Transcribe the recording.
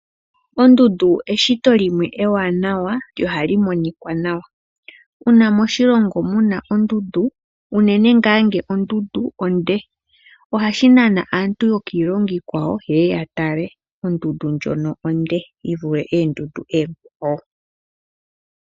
Ondundu eshito limwe ewanawa lyo ohali monika nawa. Uuna moshilongo muna ondundu, unene ngaa ngele ondundu onde, ohashi nana aantu yokiilongo iikwawo yeye yatale ondundu ndjono onde, yivule oondundu oonkwawo.